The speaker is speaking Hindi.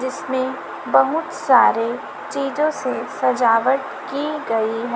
जिसमें बहुत सारे चीजों से सजावट की गई है।